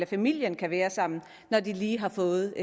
familien kan være sammen når de lige har fået